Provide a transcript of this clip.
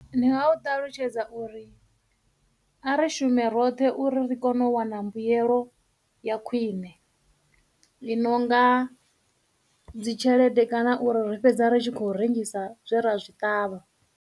Ndi nga u ṱalutshedza uri a ri shume roṱhe uri ri kone u wana mbuyelo ya khwine i nonga dzitshelede kana uri ri fhedza ri tshi khou rengisa zwe ra zwi ṱavha.